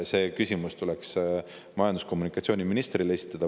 See küsimus tuleks esitada majandus‑ ja kommunikatsiooniministrile.